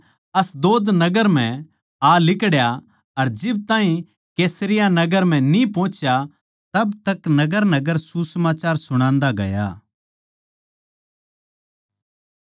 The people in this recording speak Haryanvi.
फिलिप्पुस अशदोद नगर म्ह आ लिकड़या अर जिब ताहीं कैसरिया नगर म्ह न्ही पोहुच्या जिद ताहीं नगरनगर सुसमाचार सुणान्दा गया